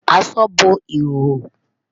Àṣọ bọ́ ìhòhò.